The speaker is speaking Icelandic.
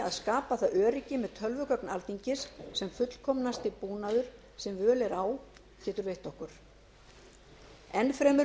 að skapa það öryggi með tölvugögn alþingis sem fullkomnasti búnaður sem völ er á getur veitt okkur enn fremur mun